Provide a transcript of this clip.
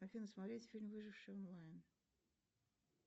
афина смотреть фильм выживший онлайн